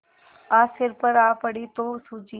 आज सिर पर आ पड़ी तो सूझी